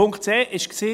Punkt 2.c war: